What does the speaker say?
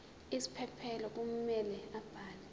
isiphephelo kumele abhale